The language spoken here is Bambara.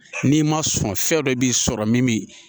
N'i ma sɔn fɛn dɔ b'i sɔrɔ min bi